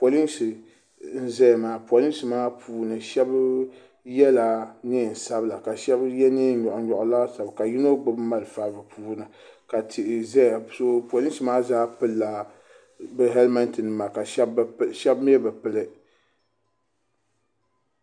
Polinsi n zaya maa polinsi puuni sheba yela niɛn'sabila ka sheba ye niɛn'nyoɣunyoɣu laasabu ka yino gbibi malifa ka tihi zaya polisi maa zaa pilila bi helimenti nima ka sheba bi mee bi pili.